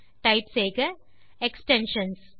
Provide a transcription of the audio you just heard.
type செய்க extensions